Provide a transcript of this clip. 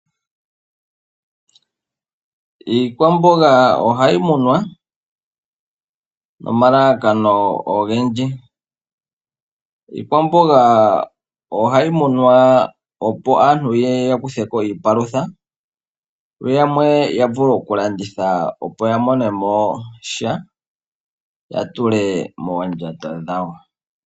Iikwamboga ohayi munwa nomalalakano ogendji. Iikwamboga ohayi munwa opo aantu ye ye ya kuthe ko iipalutha, yo yamwe ya vule okulanditha, opo ya mone mo sha ya tule moondjato dhawo.